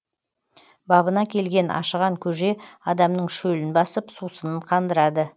бабына келген ашыған көже адамның шөлін басып сусынын қандырады